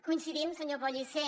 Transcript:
coincidim senyor pellicer